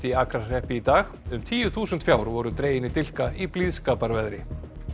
í Akrahreppi í dag um tíu þúsund fjár voru dregin í dilka í blíðskaparveðri